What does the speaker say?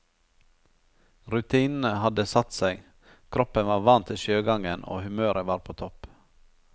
Rutinene hadde satt seg, kroppen var vant til sjøgangen og humøret var på topp.